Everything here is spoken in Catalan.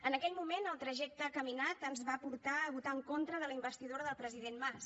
en aquell moment el trajecte caminat ens va portar a votar en contra de la investidura del president mas